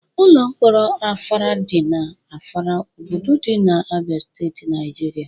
Ụlọ mkpọrọ Afara dị na Afara, obodo dị na Abia Steeti, Naijiria.